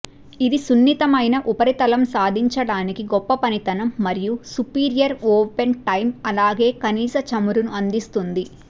ఇది సున్నితమైన ఉపరితలం సాధించడానికి గొప్ప పనితనం మరియు సుపీరియర్ ఓపెన్ టైమ్ అలాగే కనీస చమురును అందిస్తుంది